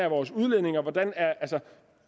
vores udledninger